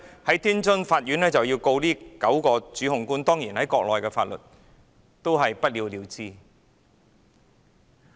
天津法院其後控告這9名主控官，但當然按照國內的法律，最後也是不了了之。